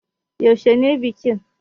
Yaushe ne bikin?